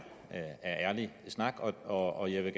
ærlig snak og og jeg vil